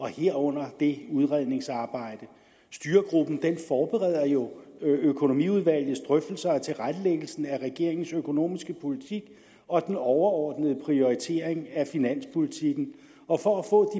herunder det udredningsarbejde styregruppen forbereder jo økonomiudvalgets drøftelser og tilrettelæggelsen af regeringens økonomiske politik og den overordnede prioritering af finanspolitikken og for at få